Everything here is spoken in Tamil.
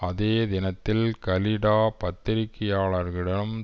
அதே தினத்தில் கலிடா பத்திரிகையாளர்களிடம்